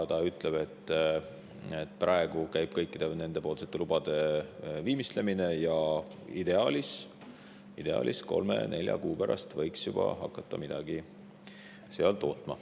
Ta ütleb, et praegu käib kõikide nendepoolsete lubade viimistlemine ja ideaalis kolme-nelja kuu pärast võiks juba hakata midagi tootma.